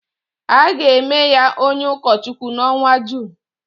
A ga-eme ya onye ụkọchukwu n’ọnwa Jun